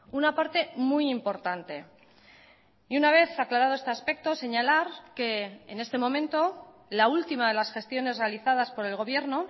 una parte muy importante y una vez aclarado este aspecto señalar que en este momento la última de las gestiones realizadas por el gobierno